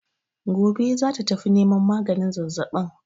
Gobe za ta tafi neman maganin zazzaɓin.